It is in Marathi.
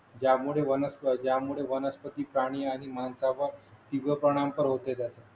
त्यामुळे वनस्पती त्यामुळे वनस्पती प्राणी आणि माणसांवर दीर्घ परिणाम होते त्याचा